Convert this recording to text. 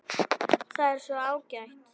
Það er svo ágætt.